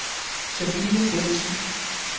Sabine Bentzen